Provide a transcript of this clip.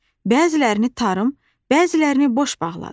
Bəzilərini tarım, bəzilərini boş bağladı.